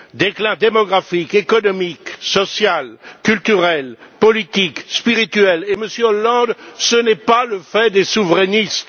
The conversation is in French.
Déclin démographique, économique, social, culturel, politique, spirituel et, Monsieur Hollande, ce n'est pas le fait des souverainistes.